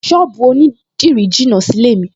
Ṣọ́ọ̀bù onídìrí jìnà sílé-è mi